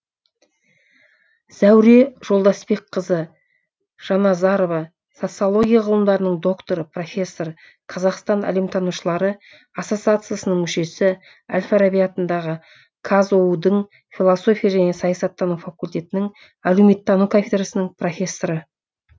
зәуре жолдасбекқызы жаназарова социология ғылымдарының докторы профессор қазақстан әлеуметтанушылары ассоциациясының мүшесі әл фараби атындағы қазұу дің философия және саясаттану факультетінің әлеуметтану кафедрасының профессоры